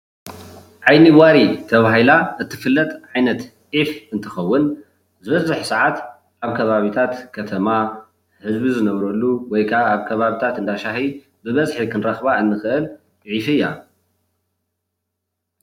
ዓይኒ ዋሪ ተባሂላ እትፍለጥ ዓይነት ዒፍ እትትከውን ዝበዝሕ ሰዓት ኣብ ከባቢታት ከተማ ህዝቢ ዝነብረሉ ወይ ክዓ ኣብ ከባቢታት እንዳ ሻሂ ብበዝሒ ክንረክባ እንክእል ዒፍ እያ፡፡